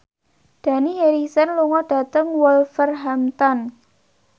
Dani Harrison lunga dhateng Wolverhampton